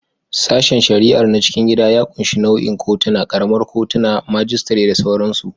Sashen shari'a na cikin gida ya ƙunshi nau'ikan kotuna, kamar kotunan majistare da sauransu.